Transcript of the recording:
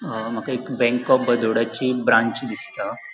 अ माका एक bank of Baroda ची ब्रांच दिसता.